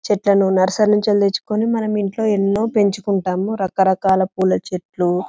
చెట్లను నర్క్సెరీ నుండి తెచ్చుకొని మనం ఇంట్లో ఎన్నో పెంచుకుంటాం రకరకాల పూవుల చెట్లు.